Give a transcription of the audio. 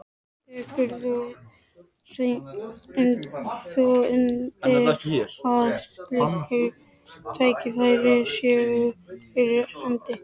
Tekur þú undir að slík tækifæri séu fyrir hendi?